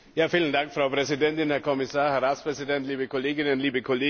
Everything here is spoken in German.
Frau Präsidentin, Herr Kommissar, Herr Ratspräsident, liebe Kolleginnen, liebe Kollegen!